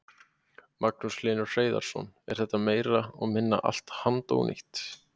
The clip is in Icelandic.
Magnús Hlynur Hreiðarsson: Er þetta meira og minna allt handónýtt?